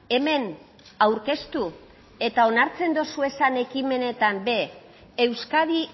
hemen aurkeztu eta onartzen dozuezan ekimenetan ere euskadi